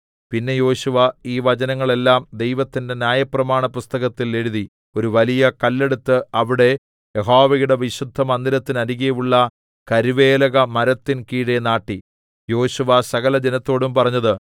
പിന്നെ യോശുവ ഈ വചനങ്ങൾ എല്ലാം ദൈവത്തിന്റെ ന്യായപ്രമാണപുസ്തകത്തിൽ എഴുതി ഒരു വലിയ കല്ലെടുത്ത് അവിടെ യഹോവയുടെ വിശുദ്ധമന്ദിരത്തിനരികെയുള്ള കരുവേലക മരത്തിൻ കീഴെ നാട്ടി യോശുവ സകലജനത്തോടും പറഞ്ഞത്